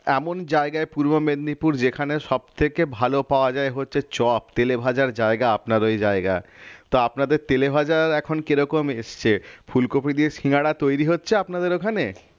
এমন জায়গায় পূর্ব মেদিনীপুর যেখানে সবথেকে ভালো পাওয়া যায় হচ্ছে চপ তেলেভাজার জায়গা আপনার ওই জায়গা তো আপনাদের তেলে বাজার এখন কি রকম এসছে ফুলকপি দিয়ে সিঙ্গারা তৈরী হচ্ছে আপনাদের ওখানে?